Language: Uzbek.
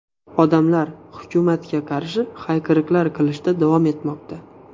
Odamlar hukumatga qarshi hayqiriqlar qilishda davom etmoqda.